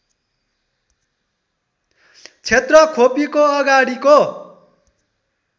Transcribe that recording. क्षेत्र खोपीको अगाडिको